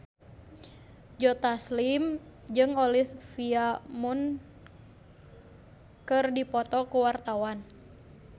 Joe Taslim jeung Olivia Munn keur dipoto ku wartawan